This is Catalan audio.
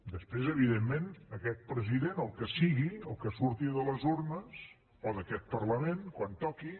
després evidentment aquest president el que sigui el que surti de les urnes o d’aquest parlament quan toqui